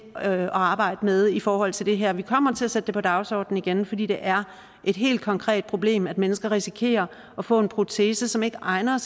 at arbejde med i forhold til det her for vi kommer til at sætte det på dagsordenen igen fordi det er et helt konkret problem at mennesker risikerer at få en protese som ikke er egnet